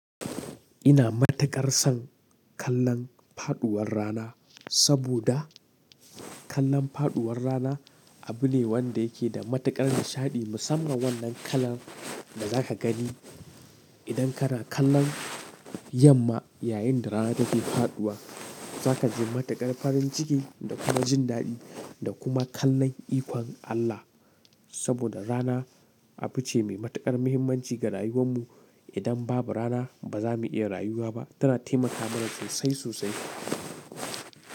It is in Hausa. Ina matukar son kallon faɗuwar rana, saboda kallon faɗuwar rana abu ne wanda yake da matukar nishaɗi. Musamman wannan kalan da za ka gani idan ka na kallon yamma yayin da rana ta ke faɗuwa. Za ka ji matukar farin ciki da kuma jin daɗi da kuma kallon ikon Allah. Saboda rana abu ce mai matakar muhimmanci ga rayuwan mu. Idan babu rana ba za mu iya rayuwa ba. Tana taimaka mana sosai sosai.